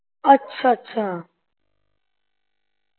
ਅੱਛਾ ਅੱਛਾ